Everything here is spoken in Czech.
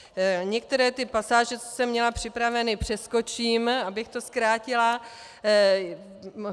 Některé ty pasáže, co jsem měla připravené, přeskočím, abych to zkrátila.